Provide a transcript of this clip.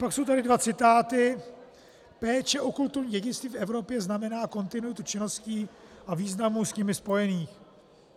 Pak jsou tady dva citáty: "Péče o kulturní dědictví v Evropě znamená kontinuitu činností a významu s nimi spojených."